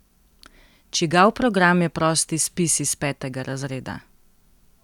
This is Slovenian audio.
Čigav program je prosti spis iz petega razreda?